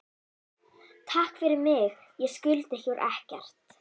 Takk fyrir mig, ég skulda ykkur ekkert.